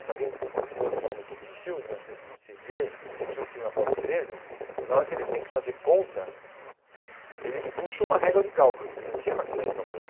Se alguém, de novo falando um pouco de filmes, mas você se vê, assistiu o filme Apolo treze, na hora que eles têm que fazer conta, eles puxam uma régua de cálculo, porque não tinha maquininha de calcular.